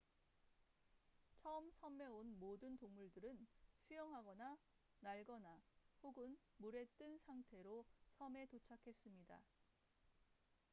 처음 섬에 온 모든 동물들은 수영하거나 날거나 혹은 물에 뜬 상태로 섬에 도착했습니다